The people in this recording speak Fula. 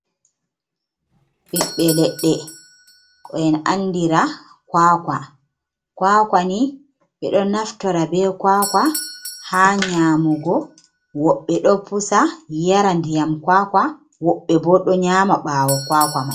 Ɓeɓɓe leɗɗe ko en anndira kuwakuwa, kuwakuwa ni ɓe ɗo naftora be kuwakuwa haa nyaamugo, woɓɓe ɗo pusa yara ndiyam kuwakuwa, woɓɓe bo ɗo nyaama ɓaawo kuwakuwa may.